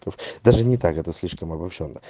то в даже не так это слишком обобщённо